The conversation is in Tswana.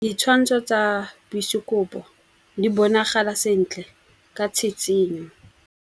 Ditshwantshô tsa biosekopo di bonagala sentle ka tshitshinyô.